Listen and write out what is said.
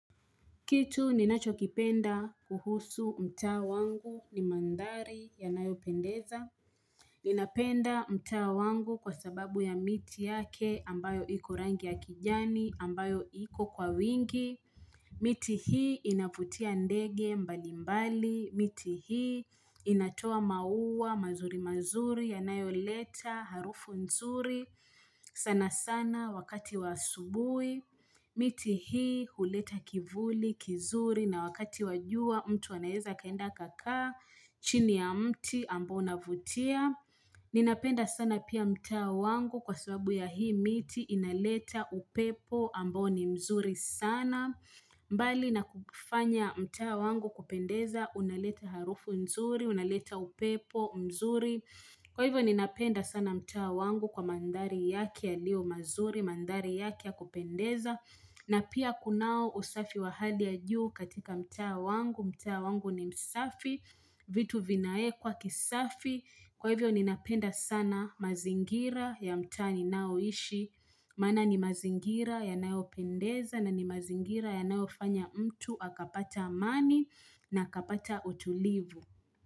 Kitu ninachokipenda kuhusu mtaa wangu ni mandhari yanayo pendeza. Ninapenda mtaa wangu kwa sababu ya miti yake ambayo iko rangi ya kijani ambayo iko kwa wingi. Miti hii inavutia ndege mbalimbali, miti hii inatoa maua mazuri mazuri yanayo leta harufu nzuri sana sana wakati wa asubuhi, miti hii huleta kivuli kizuri na wakati wa jua mtu anaweza akaenda akakaa chini ya mti ambao unavutia. Ninapenda sana pia mtaa wangu kwa sababu ya hii miti inaleta upepo ambao ni mzuri sana mbali na kufanya mtaa wangu kupendeza unaleta harufu mzuri, unaleta upepo mzuri Kwa hivyo ninapenda sana mtaa wangu kwa mandhari yake yaliyo mazuri, mandhari yake ya kupendeza na pia kunao usafi wahali ya juu katika mtaa wangu, mtaa wangu ni msafi, vitu vinaekwa kisafi Kwa hivyo ni napenda sana mazingira ya mtaa ninaoishi Maana ni mazingira yanayo pendeza na ni mazingira yanayo fanya mtu Akapata amani na akapata utulivu.